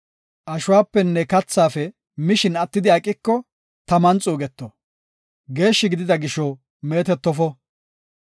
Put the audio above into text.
Ashuwapenne kathaafe mishin attidi aqiko, taman xuugeto; geeshshi gidida gisho meetetofo.